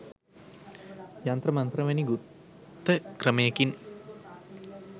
යන්ත්‍ර මන්ත්‍ර වැනි ගුප්ත ක්‍රමයකින්